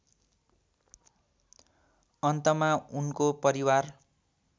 अन्तमा उनको परिवार